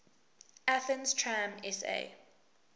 athens tram sa